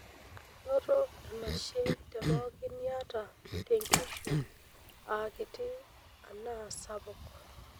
Noto enashe te pookin niata tenkishui aa kiti anaa sapuk.